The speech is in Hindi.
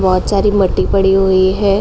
बहोत सारी मट्टी पड़ी हुई है।